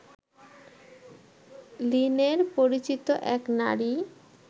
লিনের পরিচিত এক নারী